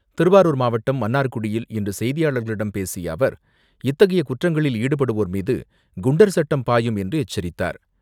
திருவாரூர் மாவட்டம், மன்னார்குடியில் இன்று செய்தியாளர்களிடம் பேசிய அவர், இத்தகைய குற்றங்களில் ஈடுபடுவோர் மீது, குண்டர் சட்டம் பாயும் என்று எச்சரித்தார்.